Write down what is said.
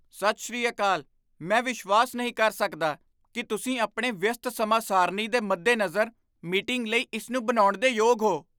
ਸਤਿ ਸ੍ਰੀ ਅਕਾਲ! ਮੈਂ ਵਿਸ਼ਵਾਸ ਨਹੀਂ ਕਰ ਸਕਦਾ ਕੀ ਤੁਸੀਂ ਆਪਣੇ ਵਿਅਸਤ ਸਮਾਂ ਸਾਰਣੀ ਦੇ ਮੱਦੇ ਨਜ਼ਰ ਮੀਟਿੰਗ ਲਈ ਇਸ ਨੂੰ ਬਣਾਉਣ ਦੇ ਯੋਗ ਹੋ!